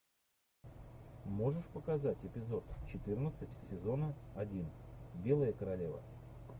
можешь показать эпизод четырнадцать сезона один белая королева